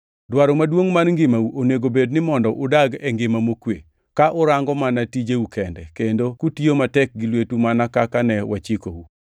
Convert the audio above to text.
Dwaro maduongʼ mar ngimau onego obed ni mondo udag e ngima mokwe, ka urango mana tijeu kende, kendo kutiyo matek gi lwetu mana kaka ne wachikou,